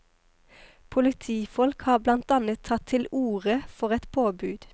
Politifolk har blant annet tatt til orde for et påbud.